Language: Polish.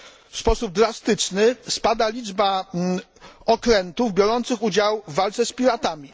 W sposób drastyczny spada liczba okrętów biorących udział w walce z piratami.